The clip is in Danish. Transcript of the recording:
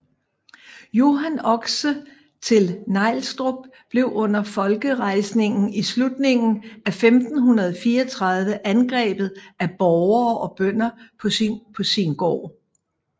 Johan Oxe til Nielstrup blev under folkerejsningen i slutningen af 1534 angrebet af borgere og bønder på sin gård